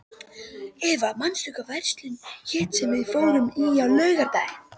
Eva, manstu hvað verslunin hét sem við fórum í á laugardaginn?